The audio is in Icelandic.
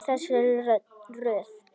Í þessari röð.